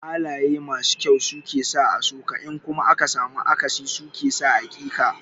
Halaye masu kyau su ke sa a so ka in kuma aka samu akasi su ke sa a ƙi ka.